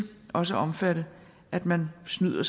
også at omfatte at man snyder